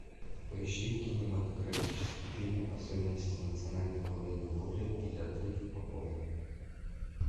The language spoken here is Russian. поищи кинематографический фильм особенности национальной подледной ловли или отрыв по полной